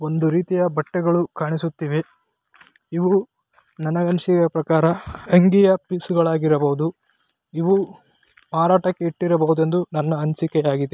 ಒಂದು ರೀತಿಯ ಬಟ್ಟೆಗಳು ಕಾಣಿಸುತ್ತಿವೆ ಇವು ನನಗೆ ಅನಿಸಿರುವ ಪ್ರಕಾರ ಆಂಗಿಯ ಪಿಸುಗಳು ಹಾಗಿರಬಹುದು ಇವು ಮಾರಾಟಕ್ಕೆ ಇಟ್ಟಿರಬಹುದು ಎಂದು ನನ್ನ ಅನಿಸಿಕೆ ಹಾಗಿ.